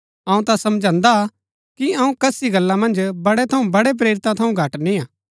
अऊँ ता समझदा हा कि अऊँ कसी गल्ला मन्ज बड़े थऊँ बड़े प्रेरिता थऊँ घट निय्आ